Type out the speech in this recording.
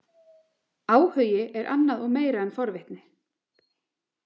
Áhugi er annað og meira en forvitni.